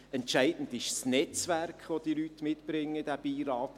Entscheidend ist das Netzwerk, welches diese Leute in den Beirat bringen.